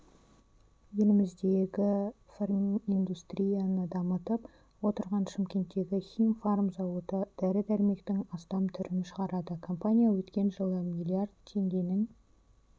еліміздегі фарминдустрияны дамытып отырған шымкенттегі химфарм зауыты дәрі-дәрмектің астам түрін шығарады компания өткен жылы миллиард теңгенің